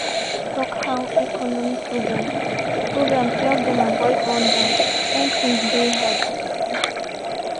one neighbor bin tok how economic programs programs help dem avoid rundown wen tins deyy hard.